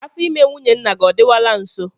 Afọ ime nwunye nna gị ọ dịwala nso?